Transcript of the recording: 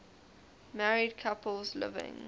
married couples living